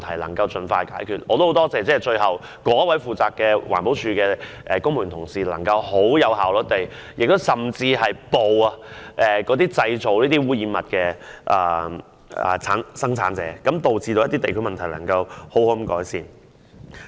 我亦很感謝該名負責的環保署公務員能夠很有效率地處理問題，甚至埋伏捉拿污染物的製造者，令地區問題能夠好好改善。